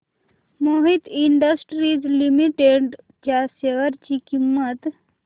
Mohit industries limited च्या share ची किंमत